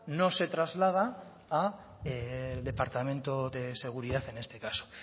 no se traslada al departamento de seguridad en este caso